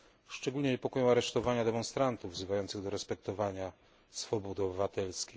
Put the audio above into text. Szczególnie niepokoją aresztowania demonstrantów wzywających do respektowania swobód obywatelskich.